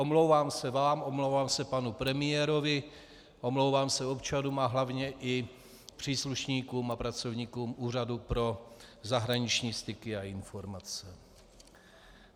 Omlouvám se vám, omlouvám se panu premiérovi, omlouvám se občanům a hlavně i příslušníkům a pracovníkům Úřadu pro zahraniční styky a informace.